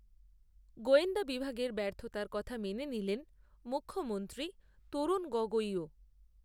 গোয়েন্দা বিভাগের ব্যর্থতার কথা মেনে নিলেন, মুখ্যমন্ত্রী তরুণ গগৈও